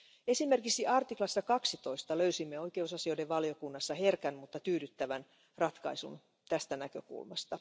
Esimerkiksi artiklassa 12 löysimme oikeusasioiden valiokunnassa herkän, mutta tyydyttävän ratkaisun tästä näkökulmasta.